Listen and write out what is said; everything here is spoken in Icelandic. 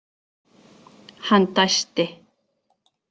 Hann dæsti.